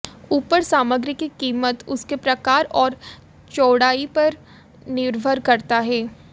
ऊपर सामग्री की कीमत उसके प्रकार और चौड़ाई पर निर्भर करता है